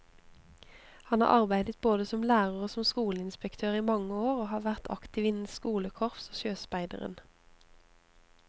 Han har arbeidet både som lærer og som skoleinspektør i mange år, og har vært aktiv innen skolekorps og sjøspeideren.